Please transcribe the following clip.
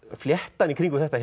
fléttan í kringum þetta